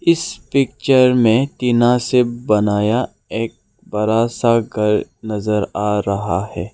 इस पिक्चर में टीना से बनाया एक बड़ा सा घर नजर आ रहा है।